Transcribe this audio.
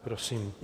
Prosím.